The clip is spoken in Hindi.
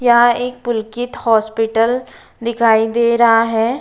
यहाँ एक पुलकित हॉस्पिटल दिखाई दे रहा है।